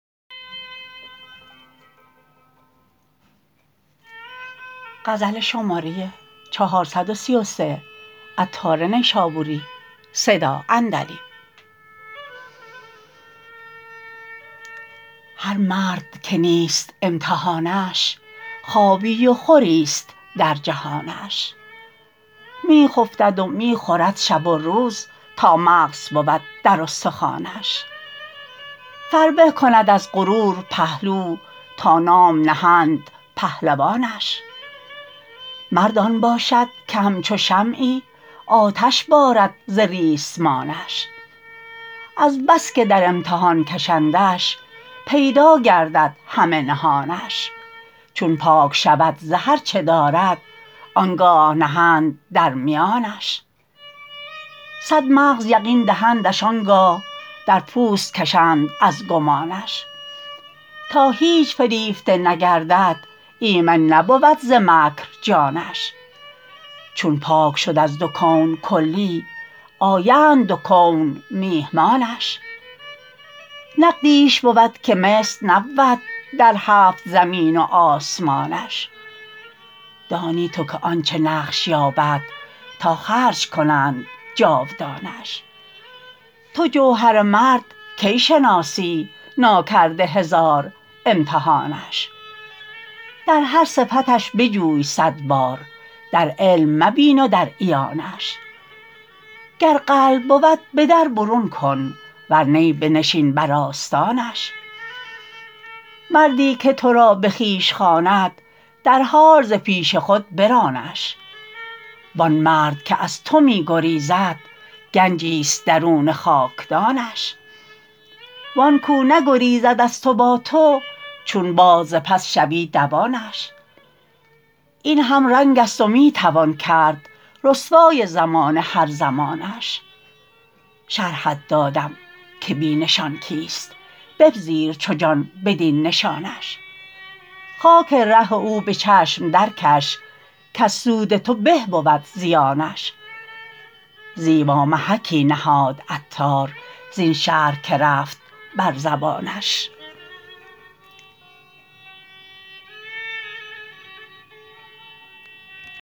هر مرد که نیست امتحانش خوابی و خوری است در جهانش می خفتد و می خورد شب و روز تا مغز بود در استخوانش فربه کند از غرور پهلو تا نام نهند پهلوانش مرد آن باشد که همچو شمعی آتش بارد ز ریسمانش از بسکه در امتحان کشندش پیدا گردد همه نهانش چون پاک شود ز هرچه دارد آنگاه نهند در میانش صد مغز یقین دهندش آنگاه در پوست کشند از گمانش تا هیچ فریفته نگردد ایمن نبود ز مکر جانش چون پاک شد از دو کون کلی آیند دو کون میهمانش نقدیش بود که مثل نبود در هفت زمین و آسمانش دانی تو که آن چه نقش یابد تا خرج کنند جاودانش تو جوهر مرد کی شناسی نا کرده هزار امتحانش در هر صفتش بجوی صد بار در علم مبین و در عیانش گر قلب بود بدر برون کن ور نی بنشین بر آستانش مردی که تو را به خویش خواند در حال ز پیش خود برانش وان مرد که از تو می گریزد گنجی است درون خاکدانش وان کو نگریزد از تو با تو چون باد ز پس شوی دوانش این هم رنگ است و می توان کرد رسوای زمانه هر زمانش شرحت دادم که بی نشان کیست بپذیر چو جان بدین نشانش خاک ره او به چشم درکش کز سود تو به بود زیانش زیبا محکی نهاد عطار زین شرح که رفت بر زبانش